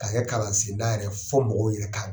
Ka kɛ kalan sen da yɛrɛ ye fo mɔgɔw yɛrɛ ka